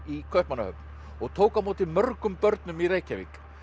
í Kaupmannahöfn og tók á móti mörgum börnum í Reykjavík